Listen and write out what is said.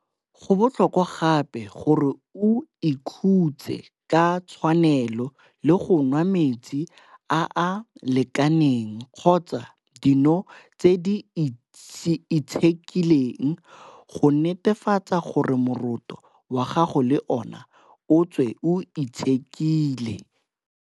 Go botlhokwa gape gore o ikhutse ka tshwanelo le go nwa metsi a a lekaneng kgotsa dino tse di itshekileng go netefatsa gore moroto wa gago le ona o tswe o itshekile.